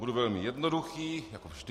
Budu velmi jednoduchý, jako vždy.